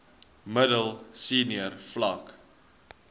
middel senior vlak